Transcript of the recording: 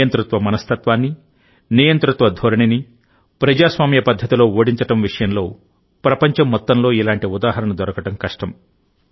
నియంతృత్వ మనస్తత్వాన్ని నియంతృత్వ ధోరణిని ప్రజాస్వామ్య పద్ధతిలో ఓడించడం విషయంలో ప్రపంచం మొత్తంలో ఇలాంటి ఉదాహరణ దొరకడం కష్టం